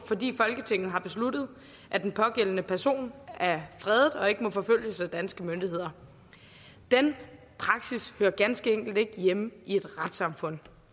fordi folketinget har besluttet at den pågældende person er fredet og ikke må forfølges af danske myndigheder den praksis hører ganske enkelt ikke hjemme i et retssamfund